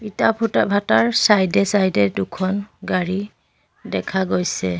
ইটা ফুটা ভাটাৰ চাইড এ চাইড এ দুখন গাড়ী দেখা গৈছে।